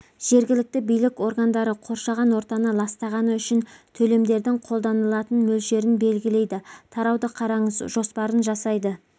жергілікті билік органдары қоршаған ортаны ластағаны үшін төлемдердің қолданылатын мөлшерлерін белгілейді тарауды қараңыз жоспарларын жасайды